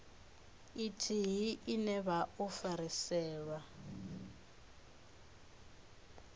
ithihi ine vha o fhirisela